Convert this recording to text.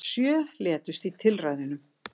Sjö létust í tilræðunum